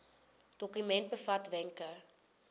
dokument bevat wenke